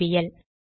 BPL